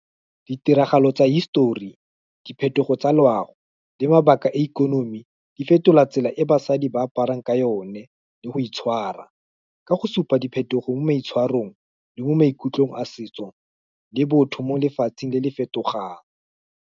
Ditiragalo tsa hisetori, diphetogo tsa loago, le mabaka e ikonomi, di fetola tsela e basadi ba aparang ka yone, le go itshwara, ka go supa diphetogo mo boitshwarong le mo maikutlong a setso, le botho, mo lefatsheng le le fetogang.